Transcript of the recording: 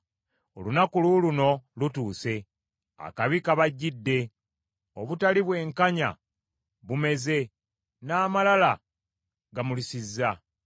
“ ‘Olunaku luuluno lutuuse. Akabi kabajjidde, obutali bwenkanya bumeze, n’amalala gamulisizza.